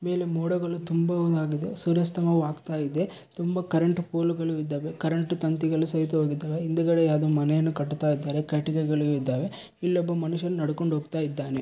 ಮೇಲೆ ಮೋಡಗಳು ತುಂಬವ ಆಗಿದೆ ಸೂರ್ಯಸ್ತಮವಾಗ್ತಾಯಿದೆ ತುಂಬಾ ಕರೆಂಟ್ ಪೋಲು ಗಳು ಇದ್ದಾವೆ ಕರೆಂಟ್ ತಂತಿಗಳು ಸಹಿತವಾಗಿದ್ದಾವೆ ಹಿಂದುಗಡೆ ಯಾವುದೋ ಮನೆಯನ್ನು ಕಟ್ಟುತ್ತಾ ಇದ್ದಾರೆ ಕಟ್ಟಿಗೆಗಳು ಇದ್ದಾವೆ ಇಲ್ಲಿ ಒಬ್ಬ ಮನುಷ್ಯನೂ ನಡ್ಕೊಂಡು ಹೋಗ್ತಾ ಇದ್ದಾನೆ .